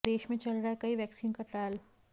देश में चल रहा है कई वैक्सीन का ट्रायल